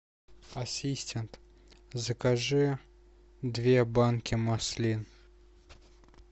ассистент закажи две банки маслин